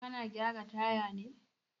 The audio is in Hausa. Kana gyara taya ne?